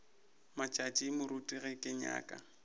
matšatši moruti ge ke nyaka